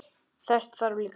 Þess þarf líka.